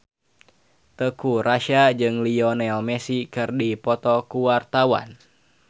Teuku Rassya jeung Lionel Messi keur dipoto ku wartawan